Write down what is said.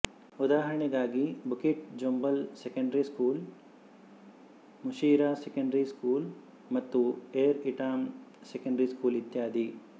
ಉದಾಹರಣೆಗಾಗಿ Bukit Jambul secondary school Sri Mutiara secondary school ಮತ್ತು Air Itam secondary school ಇತ್ಯಾದಿ